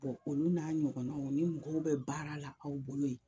olu n'a ɲɔgɔnnaw ni mɔgɔw bɛ baara la aw bolo yen